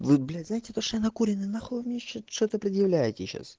вы блять знаете то что я накуренный нахуй вы мне ещё что-то предъявляете сейчас